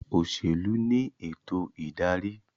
Òṣèlú ní ètò ìdarí